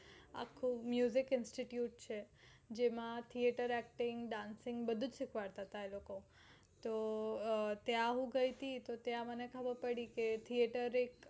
આખું institute છે ત્યાં theater acting, dancing બધુજ શીખવાડતા હતા તો ત્યાં હું ગઈ હતી તો ત્યાં મને ખબર પડી theater એક